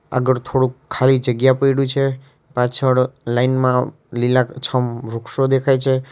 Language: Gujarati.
આગળ થોડુક ખાલી જગ્યા પયડુ છે પાછળ લાઈન માં લીલાછમ અ વૃક્ષો દેખાય છે.